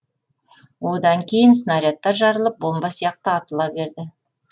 одан кейін снарядтар жарылып бомба сияқты атыла берді